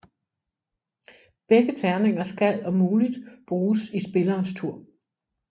Begge terninger skal om muligt bruges i spillerens tur